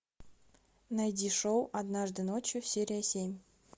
найди шоу однажды ночью серия семь